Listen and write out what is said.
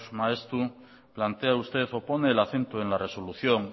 maeztu plantea usted o pone el acento en la resolución